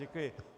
Děkuji.